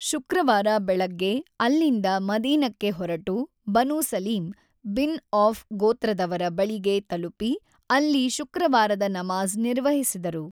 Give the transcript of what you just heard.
ಶುಕ್ರವಾರ ಬೆಳಗ್ಗೆ ಅಲ್ಲಿಂದ ಮದೀನಕ್ಕೆ ಹೊರಟು ಬನೂ ಸಲೀಂ ಬಿನ್ ಔಫ್ ಗೋತ್ರದವರ ಬಳಿಗೆ ತಲುಪಿ ಅಲ್ಲಿ ಶುಕ್ರವಾರದ ನಮಾಝ್ ನಿರ್ವಹಿಸಿದರು.